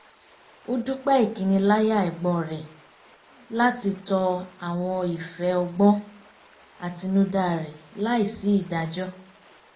ó dúpẹ́ ìkiniláyà ẹ̀gbọ́n rẹ̀ láti tọ àwọn ìfẹ́ ọgbọ́n àtinúdá rẹ̀ láì sí ìdájọ́